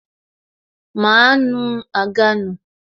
Máa nu àga nù